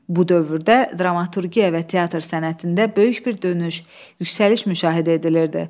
Bu dövrdə dramaturgiya və teatr sənətində böyük bir dönüş, yüksəliş müşahidə edilirdi.